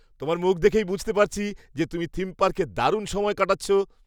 তোমার মুখ দেখেই বুঝতে পারছি যে, তুমি থিম পার্কে দারুণ সময় কাটাচ্ছ।